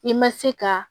I ma se ka